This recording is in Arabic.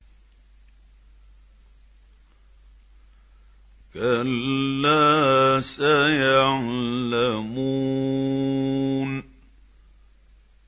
كَلَّا سَيَعْلَمُونَ